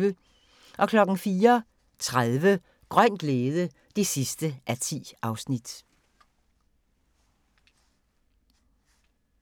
04:30: Grøn glæde (10:10)